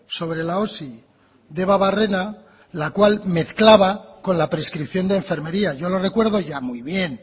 sobre la osi debabarrena la cual mezclaba con la prescripción de enfermería yo lo recuerdo ya muy bien